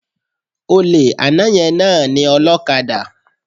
Olè àná yẹn náà ni ọlókadà